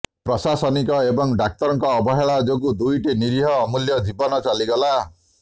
ପ୍ରଶାସନିକ ଏବଂ ଡାକ୍ତରଙ୍କ ଅବହେଳା ଯୋଗୁଁ ଦୁଇଟି ନିରୀହ ଅମୂଲ୍ୟ ଜୀବନ ଚାଲିଗଲା